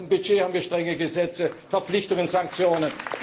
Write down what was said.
Und beim Budget haben wir strenge Gesetze, Verpflichtungen, Sanktionen.